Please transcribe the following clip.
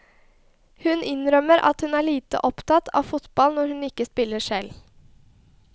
Hun innrømmer at hun er lite opptatt av fotball når hun ikke spiller selv.